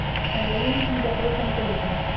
হ্যাঁ বলুন, কি ব্যাপারে phone করেছেন?